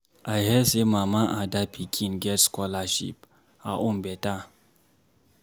I hear say Mama Ada pikin get scholarship. Her own beta.